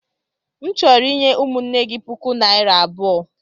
M chọrọ inye ụmụnne gị puku naira abụo.